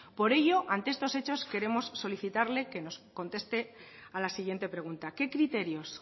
por ello ante estos hechos queremos solicitarles que nos conteste a la siguiente pregunta qué criterios